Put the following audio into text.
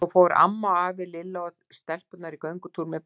Svo fóru amma og afi, Lilla og stelpurnar í skógartúr með pabba.